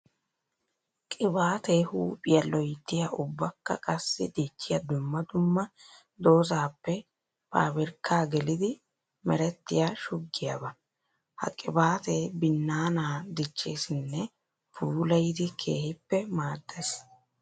Qibaatte huuphiya loyttiya ubbakka qassi dichiya dumma dumma doozappe pabirkka geliddi merettiya shugiyaaba. Ha qibaatte binnaana dicheesinne puulayiddi keehippe maades.